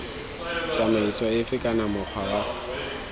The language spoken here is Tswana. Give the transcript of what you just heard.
tsamaiso efe kana mokgwa wa